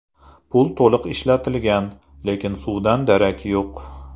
Pul to‘liq ishlatilgan, lekin suvdan darak yo‘q.